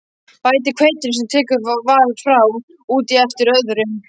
Bætið hveitinu, sem tekið var frá, út í eftir þörfum.